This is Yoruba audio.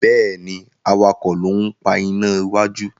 Béèni awakọ̀ ló ń pá iná wájú.